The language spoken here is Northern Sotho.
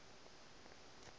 ba ka no re ke